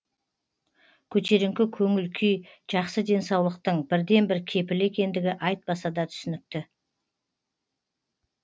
көтеріңкі көңіл күй жақсы денсаулықтың бірден бір кепілі екендігі айтпаса да түсінікті